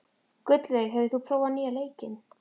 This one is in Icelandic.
Gullveig, hefur þú prófað nýja leikinn?